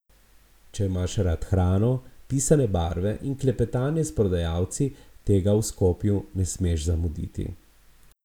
Če imaš rad hrano, pisane barve in klepetanje s prodajalci, tega v Skopju ne smeš zamuditi.